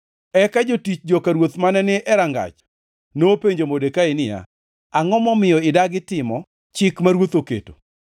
Eka jotich joka ruoth mane ni e rangach nopenjo Modekai niya, “Angʼo momiyo idagi timo chik ma ruoth oketo?”